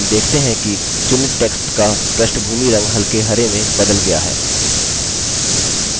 हम देखते हैं कि चुनित text का पृष्ठभूमिरंग हल्के हरे में बदल गया है